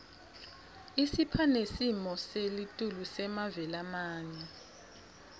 isipha nesimo selitulu semave lamanye